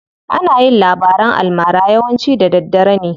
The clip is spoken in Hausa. Ana yin labaran almara yawanci da daddare ne.